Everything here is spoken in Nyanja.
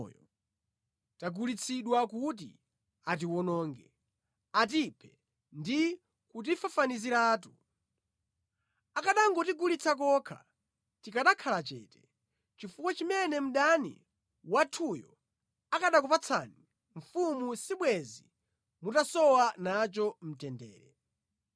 Popeza ine ndi anthu a mtundu wanga tagulitsidwa kuti atiwononge, atiphe ndi kutifafaniziratu. Akanangotigulitsa kokha tikanakhala chete, chifukwa chimene mdani wathuyo akanakupatsani mfumu sibwenzi mutasowa nacho mtendere.”